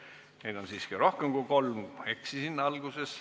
Ettepanekuid on siiski rohkem kui kolm, ma eksisin alguses.